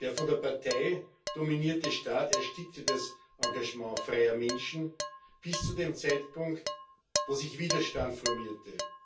Der von der Partei dominierte Staat erstickte das Engagement freier Menschen bis zu dem Zeitpunkt, als sich Widerstand formierte.